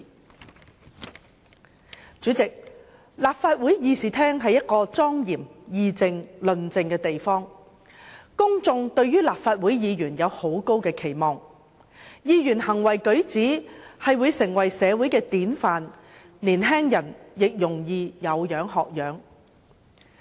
代理主席，立法會議事廳是供議政、論政的莊嚴地方，公眾對立法會議員有很高的期望，議員的行為舉止會成為社會的典範，年青人也容易有樣學樣。